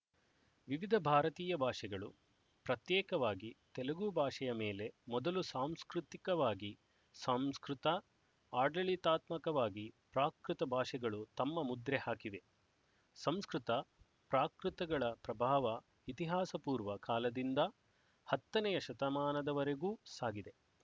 ವಿವಿಧ ಭಾರತೀಯ ಭಾಷೆಗಳು ಪ್ರತ್ಯೇಕವಾಗಿ ತೆಲುಗು ಭಾಷೆಯ ಮೇಲೆ ಮೊದಲು ಸಾಂಸ್ಕೃತಿಕವಾಗಿ ಸಂಸ್ಕೃತ ಆಡಳಿತಾತ್ಮಕವಾಗಿ ಪ್ರಾಕೃತ ಭಾಷೆಗಳು ತಮ್ಮ ಮುದ್ರೆ ಹಾಕಿವೆ ಸಂಸ್ಕೃತ ಪ್ರಾಕೃತಗಳ ಪ್ರಭಾವ ಇತಿಹಾಸಪೂರ್ವ ಕಾಲದಿಂದ ಹತ್ತನೆಯ ಶತಮಾನದವರೆಗೂ ಸಾಗಿದೆ